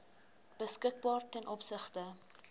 beskikbaar ten opsigte